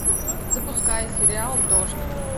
запускай сериал дождь